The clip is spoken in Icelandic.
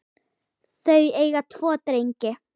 Þau eiga tvo drengi